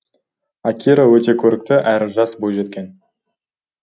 акира өте көрікті әрі жас бойжеткен